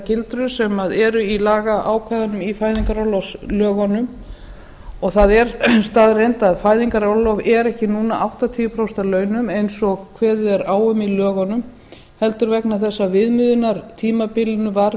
gildrur sem eru í lagaákvæðinu í fæðingarorlofslögum það er staðreynd að fæðingarorlof er ekki núna áttatíu prósent af launum eins og kveðið er á um í lögunum heldur vegna þess að viðmiðunartímabilinu var